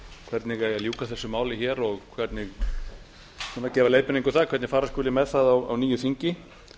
hvernig eigi að ljúka þessu máli og hvernig eigi að gefa leiðbeiningu um það hvernig fara skuli með það á nýju þingi